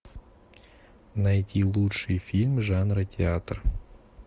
найти лучший фильм жанра театр